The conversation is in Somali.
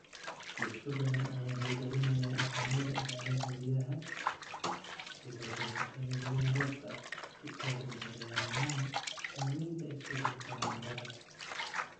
Bulsho badan ayaa hirgelinaya dhaqamada ilaalinta biyaha, sida goosashada biyaha roobka, si ay ula dagaallamaan saamaynta isbeddelka cimilada.